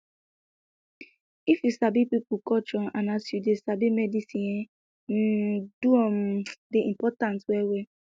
if you sabi pipo culture and as you sabi medicine e um do um dey important well well